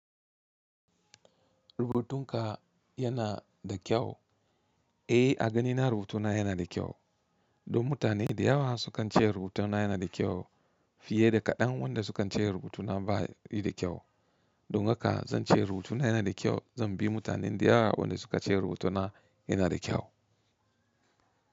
Rubutun ka yana da kyau? Eh, a ganina rubutuna yana da kyau. Don mutane da yawa sukan ce rubutuna yana da kyau fiye da kaɗan wanda sukan ce rubutuna ba yi da kyau. Don haka zan ce rubutuna yana da kyau, zan bi mutanen da yawa waɗanda suka ce rubutuna yana da kyau.